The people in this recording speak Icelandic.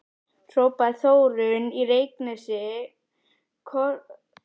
hrópaði Þórunn í Reykjanesi, kotroskin stelpa með freknur.